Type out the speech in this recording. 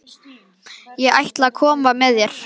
Ég ætla að koma með þér!